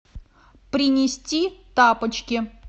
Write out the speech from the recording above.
принести тапочки